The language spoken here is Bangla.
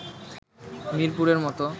মিরপুরের মতো